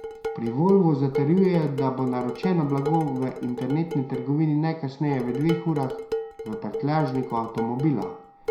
Pri Volvu zatrjujejo, da bo naročeno blago v internetni trgovini najkasneje v dveh urah v prtljažniku avtomobila.